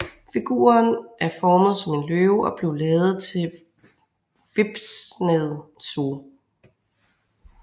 Figuren er formet som en løve og blev lavet til Whipsnade Zoo